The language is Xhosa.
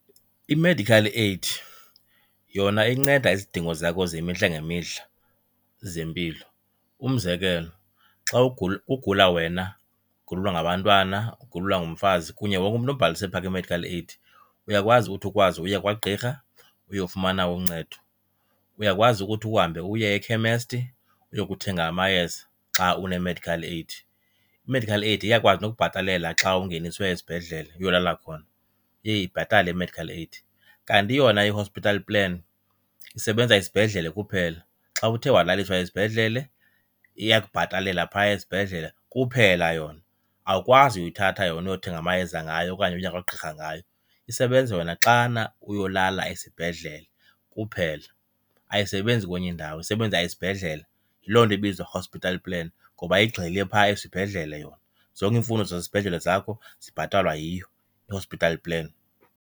I-medical aid yona inceda izidingo zakho zemihla ngemihla zempilo. Umzekelo, xa [?,] ugula wena ugulelwa ngabantwana, ugulelwa ngumfazi kunye wonke umntu obhalise phaa kwi-medical aid, uyakwazi uthi ukwazi uye kwagqirha uyofumana uncedo, uyakwazi ukuthi uhambe uye ekhemesti uyokuthenga amayeza xa une-medical aid. I-medical aid iyakwazi nokubhatalela xa ungeniswe esibhedlele uyolala khona, iye ibhatale i-medical aid. Kanti yona i-hospital plan isebenza esibhedlele kuphela, xa uthe walaliswa esibhedlele iyakubhatalela phaa esibhedlele kuphela yona, awukwazi uyithatha yona uyothenga amayeza ngayo okanye uye kwagqirha ngayo. Isebenza yona xana uyolala esibhedlele kuphela, ayisebenzi kwenye indawo isebenza esibhedlele, yiloo nto ibizwa hospital plan ngoba igxile phaa esibhedlele yona. Zonke iimfuno zasesibhedlele zakho zibhatalwa yiyo i-hospital plan.